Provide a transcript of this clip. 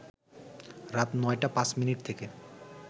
রাত ৯টা ৫ মিনিট থেকে